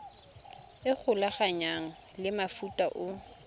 e golaganngwang le mofuta o